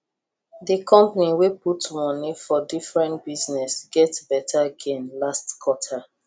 the company wey put money for different business get better gain last quarter